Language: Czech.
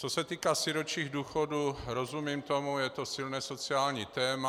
Co se týká sirotčích důchodů, rozumím tomu, je to silné sociální téma.